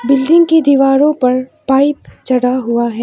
Building की दीवारों पर पाइप चढ़ा हुआ है।